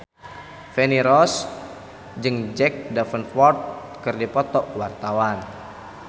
Feni Rose jeung Jack Davenport keur dipoto ku wartawan